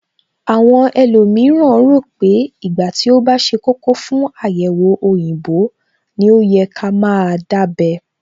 Àwọn ẹlòmíràn rò pé ìgbà tí ó bá ṣe kókó fún àyẹ̀wò òyìnbó ní ó yẹ ká máa dábẹ́